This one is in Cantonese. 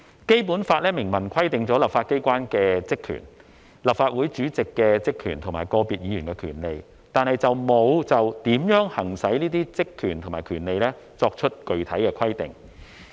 《基本法》明文規定立法機關的職權、立法會主席的職權及個別議員的權利，但沒有就如何行使這些職權和權利作出具體的規定。